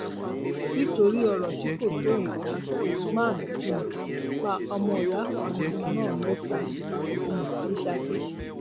nítorí ọrọ tí kò tó nǹkan usman um pa ọmọọyà kan náà mẹta um ní saki